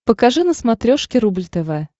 покажи на смотрешке рубль тв